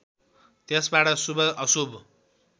त्यसबाट शुभ अशुभ